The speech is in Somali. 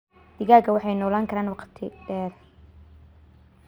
Digaagga waxay noolaan karaan waqti dheer.